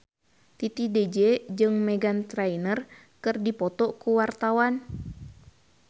Titi DJ jeung Meghan Trainor keur dipoto ku wartawan